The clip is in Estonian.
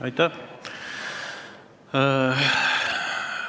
Aitäh!